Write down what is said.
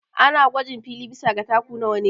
Ana gwajin fili bisa ga taku nawa ne